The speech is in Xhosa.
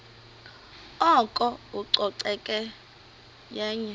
oko ucoceko yenye